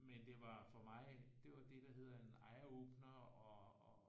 Men det var for mig det var det der hedder en eye opener og